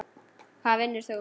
Hvar vinnur hún?